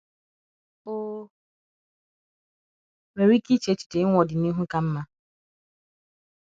o nwere ike iche echiche inwe ọdịnihu ka mma?